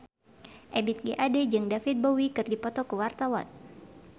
Ebith G. Ade jeung David Bowie keur dipoto ku wartawan